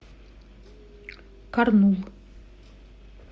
карнул